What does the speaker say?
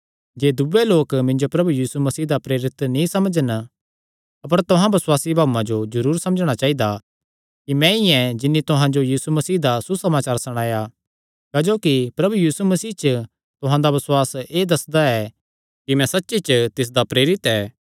जे दूये लोक मिन्जो प्रभु यीशु मसीह दा प्रेरित नीं समझन अपर तुहां बसुआसी भाऊआं जो जरूर समझणा चाइदा कि मैंई ऐ जिन्नी तुहां जो यीशु मसीह दा सुसमाचार सणाया क्जोकि प्रभु यीशु मसीह च तुहां दा बसुआस एह़ दस्सदा ऐ कि मैं सच्ची च तिसदा प्रेरित ऐ